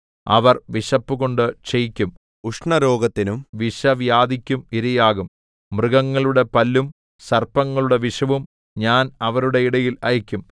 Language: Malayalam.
അവർ വിശപ്പുകൊണ്ട് ക്ഷയിക്കും ഉഷ്ണരോഗത്തിനും വിഷവ്യാധിക്കും ഇരയാകും മൃഗങ്ങളുടെ പല്ലും സർപ്പങ്ങളുടെ വിഷവും ഞാൻ അവരുടെ ഇടയിൽ അയക്കും